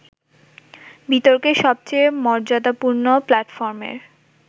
বিতর্কের সবচেয়ে মর্যাদাপূর্ণ প্ল্যাটফর্মের